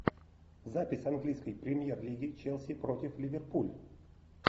запись английской премьер лиги челси против ливерпуль